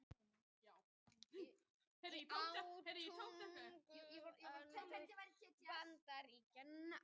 Á tuttugustu öld hófst svo mikill straumur fólks frá Rómönsku Ameríku til Bandaríkjanna.